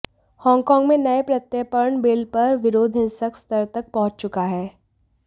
Hong Kong में नए प्रत्यर्पण बिल पर विरोध हिंसक स्तर तक पहुंच चुका है